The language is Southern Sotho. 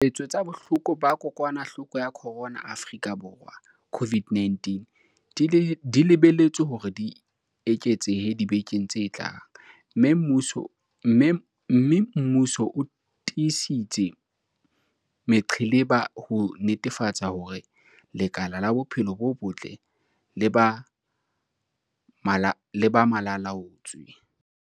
Ditshwaetso tsa bohloko ba kokwanahloko ya corona Afrika Borwa, COVID-19, di lebelletswe hore di eketsehe dibekeng tse tlang, mme mmuso o tiisitse meqheleba ho netefatsa hore lekala la bophelo bo botle le ba malalaa-laotswe.